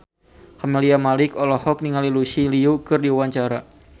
Camelia Malik olohok ningali Lucy Liu keur diwawancara